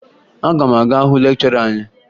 Aga m aga hụ lekchọra anyị